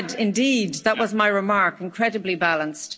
I said, indeed, that was my remark incredibly balanced.